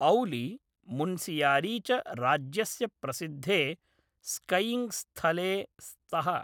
औली, मुन्सियारी च राज्यस्य प्रसिद्धे स्कैयिङ्ग्स्थले स्तः।